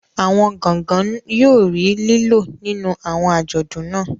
Awọn gangan yóò rí lilo nínú awọn ajọdun naa